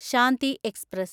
Shanti express